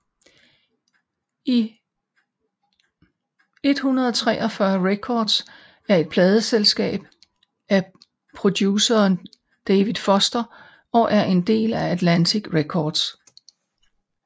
143 Records er et pladeselskab af produceren David Foster og er en del af Atlantic Records